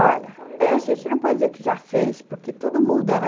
Olha, a gente não pode dizer que já fez, porque tudo muda, né?